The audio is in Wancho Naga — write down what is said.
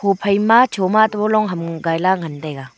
huphai ma choma atoh long ham gaila ngan taiga.